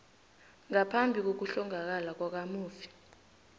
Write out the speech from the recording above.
ngaphambi kokuhlongakala kwakamufi